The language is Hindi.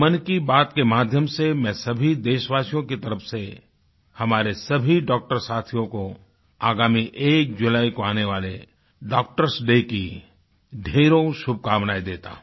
मन की बात के माध्यम से मैं सभी देशवासियों की तरफ़ से हमारे सभी डॉक्टर साथियों को आगामी 1 जुलाई को आने वाले doctorएस डे की ढेरों शुभकामनाएँ देता हूँ